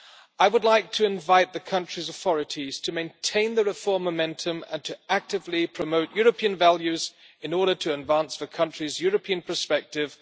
I would like to invite the country's authorities to maintain the reform momentum and to actively promote European values in order to advance the country's European perspective.